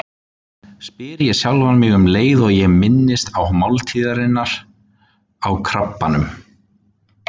spyr ég sjálfan mig um leið og ég minnist máltíðarinnar á Krabbanum.